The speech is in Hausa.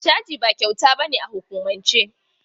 Caji ba kyauta ba ne a hukumance.